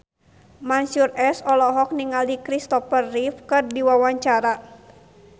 Mansyur S olohok ningali Christopher Reeve keur diwawancara